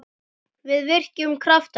Við virkjum kraft hennar.